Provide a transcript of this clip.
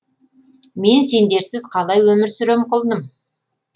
мен сендерсіз қалай өмір сүрем құлыным